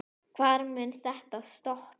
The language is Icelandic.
Hvar mun þetta stoppa?